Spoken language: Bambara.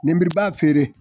Ninbiriba feere.